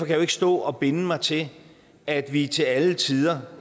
jeg jo ikke stå og binde mig til at vi til alle tider